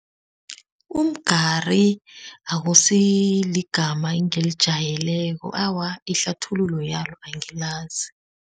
Umgari akusiligama engilijwayeleko. Awa ihlathululo yalo angilazi.